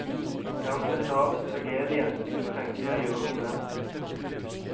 Det er en skandinavisk tragedie jeg kunne tenke meg å gjøre noe med.